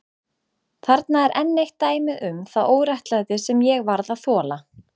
Þarna er enn eitt dæmið um það óréttlæti sem ég varð að þola.